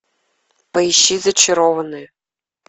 поищи зачарованные